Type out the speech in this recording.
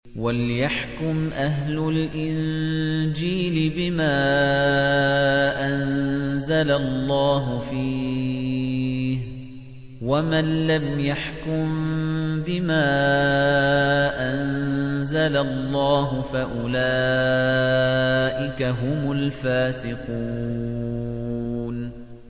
وَلْيَحْكُمْ أَهْلُ الْإِنجِيلِ بِمَا أَنزَلَ اللَّهُ فِيهِ ۚ وَمَن لَّمْ يَحْكُم بِمَا أَنزَلَ اللَّهُ فَأُولَٰئِكَ هُمُ الْفَاسِقُونَ